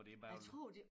For det bare vel